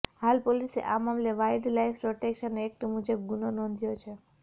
હાલ પોલીસે આ મામલે વાઇલ્ડ લાઇફ પ્રોટેક્શન એક્ટ મુજબ ગુનો નોંધ્યો છે